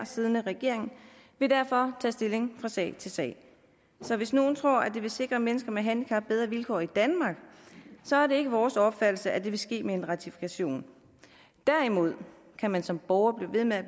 siddende regering vil derfor tage stilling fra sag til sag så hvis nogen tror at det vil sikre mennesker med handicap bedre vilkår i danmark så er det ikke vores opfattelse at det vil ske med en ratifikation derimod kan man som borger blive ved med at